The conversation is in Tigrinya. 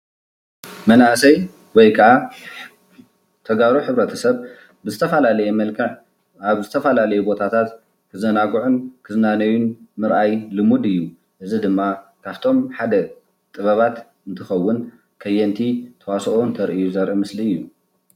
መናእሰይ ወይ ከኣ ተጋሩ ሕብረተሰብ ብዝተፈላለየ መልክዕ ኣብ ዝተፍላለየ ቦታታት ክዛናግዑን ክዝናነዩን ምርኣይ ልሙድ እዩ፡፡ እዚ ድማ ካፍቶም ሓደ ጥበባት እንትኸውን ከየንቲ ተዋስኦ እንተርእዩ ዘርኢ ምስሊ እዩ፡፡